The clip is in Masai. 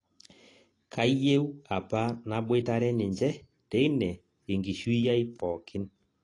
Kayieu apa naboitare ninje teine enkishui ai pookin